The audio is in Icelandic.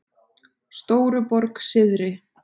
Stóruborg syðri